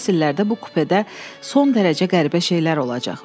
Növbəti fəsillərdə bu kupedə son dərəcə qəribə şeylər olacaq.